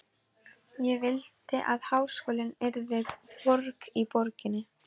Ég vildi að háskólinn yrði borg í borginni.